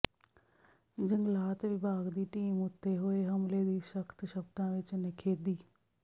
ਜੰਗਲਾਤ ਵਿਭਾਗ ਦੀ ਟੀਮ ਉਤੇ ਹੋਏ ਹਮਲੇ ਦੀ ਸਖ਼ਤ ਸ਼ਬਦਾਂ ਵਿਚ ਨਿਖੇਧੀ